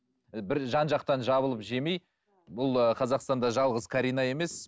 і бір жан жақтан жабылып жемей бұл ы қазақстанда жалғыз карина емес